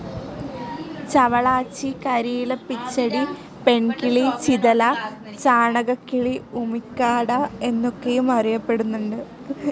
ചവളാച്ചി, കരിയിലപ്പിടച്ചി, പെൺകിളി, ചിതല, ചാണകക്കിളി, ഉമിക്കാട, എന്നൊക്കെയും അറിയപ്പെടുന്നുണ്ട്.